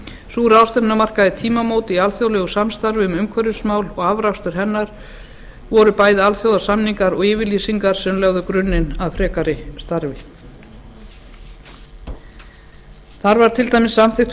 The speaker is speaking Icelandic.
sú ráðstefna markaði tímamót í alþjóðlegu samstarfi um umhverfismál og afrakstur hennar var bæði alþjóðasamningar og yfirlýsingar sem lögðu grunninn að frekara starfi þar var til dæmis samþykkt